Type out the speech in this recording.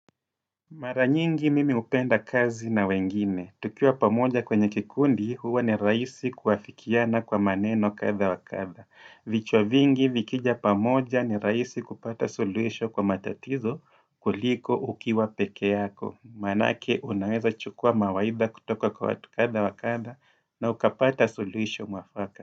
Mara nyingi mimi hupenda kazi na wengine. Tukiwa pamoja kwenye kikundi huwa ni rahisi kuafikiana kwa maneno kadha wa kadha. Vichwa vingi vikija pamoja ni rahisi kupata suluhisho kwa matatizo kuliko ukiwa peke yako. Maanake unaweza chukua mawaidha kutoka kwa watu kasha wa kadha na ukapata suluhisho mwafaka.